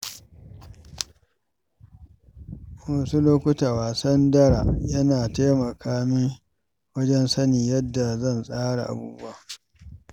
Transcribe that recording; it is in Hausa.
Wasu lokuta, wasan dara yana taimaka min wajen sanin yadda zan tsara abubuwa.